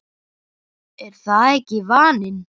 Er það ekki vaninn?